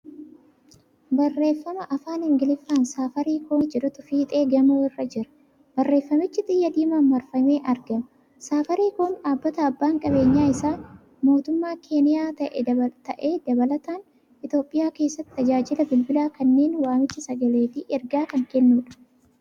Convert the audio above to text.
Barreeffama Afaan Ingiliffaan ' Saafaariikoom'jedhutu fiixee gamoo irra jira. Barreeffamichi xiyya diimaan marfamee argama. Saafaariikoom dhaabbata abbaan qabeenyaa isaa mootummaa keeniyaa ta'ee dabalataan Itiyoophiyaa keessatti tajaajila bilbilaa kanneen waamicha sagalee fi ergaa kan kennuudha.